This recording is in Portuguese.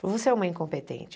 Você é uma incompetente.